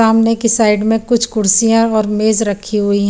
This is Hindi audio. सामने की साइड में कुछ कुर्सिया और मेज रखी हुई हैं।